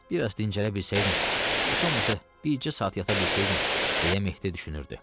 Bir az dincələ bilsəydim, heç olmasa bircə saat yata bilsəydin, deyə Mehdi düşünürdü.